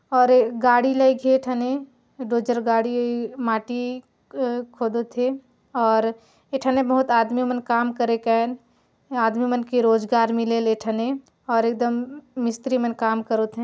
और ऐ गाड़ी लगे एही ठने दो चार गाड़ी माटी क अ खोदत हे और ए ठाने बहुत आदमी मन काम करे कन आदमी मन के रोजगार मिले ले ए ठने ने और एकदम मिस्त्री मन काम करे करोत है ।